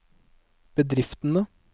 bedriftene